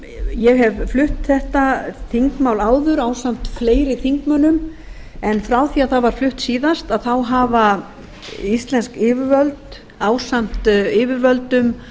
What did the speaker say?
ég hef flutt þetta þingmál áður ásamt fleiri þingmönnum en frá því það var flutt síðast þá hafa íslensk yfirvöld ásamt yfirvöldum